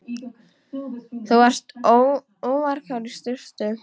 Þú varst óvarkár í sturtu.